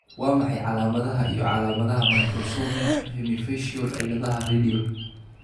Waa maxay calaamadaha iyo calaamadaha Microsomia hemifacial ciladaha radial?